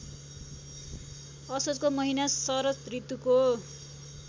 असोजको महिना शरदऋतुको